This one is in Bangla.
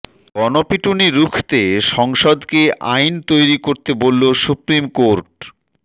গণপিটুনি রুখতে সংসদকে আইন তৈরি করতে বলল সুপ্রিম কোর্ট